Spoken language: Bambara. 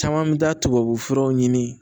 Caman mi taa tubabufuraw ɲini